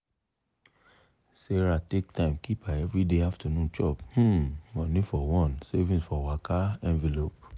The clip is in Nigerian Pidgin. sarah take time keep her everyday afternoon chop um money for one "saving for waka" envelope.